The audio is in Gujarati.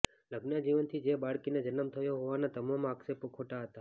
લગ્ન જીવનથી જે બાળકીને જન્મ થયો હોવાના તમામ આક્ષેપો ખોટા હતા